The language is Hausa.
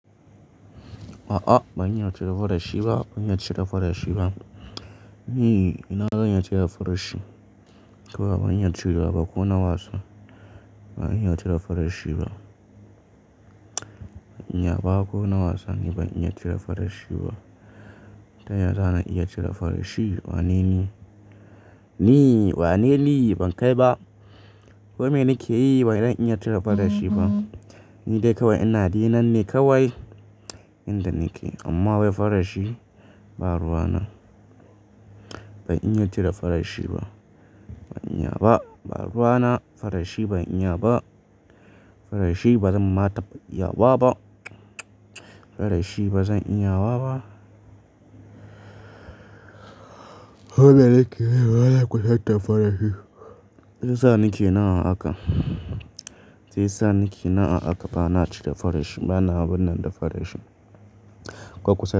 A'a ban iya cire farashi ba, ban iya cire farashi ba. Ni ina zan iya cire farashi? Kawai ban iya cirewa ba ko na wasa. Ban iya cire farashi ba. Ban iya ba ko na wasa, ni ban iya cire farashi ba ta ya zana iya cire farashi? Wane ni? Ni, wane ni? Ban kai ba. Ko me nake yi ba zan iya cire farashi ba. Ni dai kawai ina dinnan ne kawai inda nake amma wai farashi ba ruwa na. Ban iya cire farashi ba. Ban iya ba, ba ruwa na farashi ban iya ba. Farashi ba zan ma taɓa iya wa ba. Farashi ba zan iya wa ba. Ko me nake yi bana kusata farashi. Shi ya sa nake nan a haka. Shi ya sa nake nan a haka bana cire farashi. Bana abunnan da farashi. Ko kusa.